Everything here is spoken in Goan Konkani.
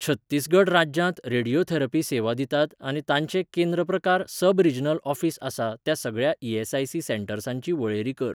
छत्तीसगढ राज्यांत रेडियोथेरपी सेवा दितात आनी तांचें केंद्र प्रकार सब रीजनल ऑफीस आसा त्या सगळ्या ई.एस.आय.सी.सेंटर्सांची वळेरी कर.